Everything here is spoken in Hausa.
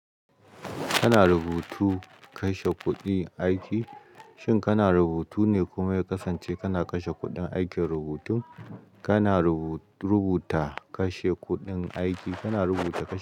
Kana rubutu kashe kuɗi aiki, shin kana rubutu ne kuma ya kasance kana kashe kuɗin aikin rubutun? Kana rubuta kashe kuɗin aiki, kana rubuta kashe.